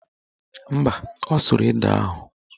Mba, ọ sụrụ ede ahụ